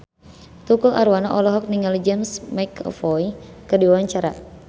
Tukul Arwana olohok ningali James McAvoy keur diwawancara